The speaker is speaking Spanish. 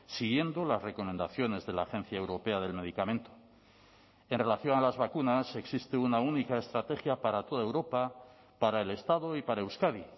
siguiendo las recomendaciones de la agencia europea del medicamento en relación a las vacunas existe una única estrategia para toda europa para el estado y para euskadi